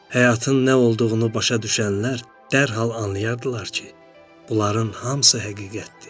Həyatın nə olduğunu başa düşənlər dərhal anlayardılar ki, bunların hamısı həqiqətdir.